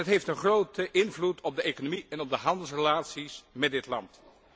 En dat heeft een grote invloed op de economie en op de handelsrelaties met dit land.